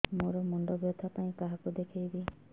ମୋର ମୁଣ୍ଡ ବ୍ୟଥା ପାଇଁ କାହାକୁ ଦେଖେଇବି